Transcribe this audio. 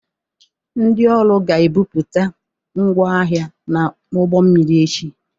Ndị ọrụ ga-ebupụta ngwa ahịa n'ụgbọ mmiri echi.